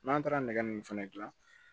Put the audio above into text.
N'an taara nɛgɛ min fɛnɛ gilan